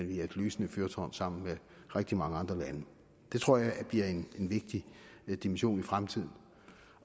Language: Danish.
vi er et lysende fyrtårn sammen med rigtig mange andre lande det tror jeg bliver en vigtig dimension i fremtiden